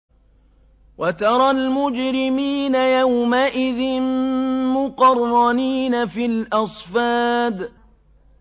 وَتَرَى الْمُجْرِمِينَ يَوْمَئِذٍ مُّقَرَّنِينَ فِي الْأَصْفَادِ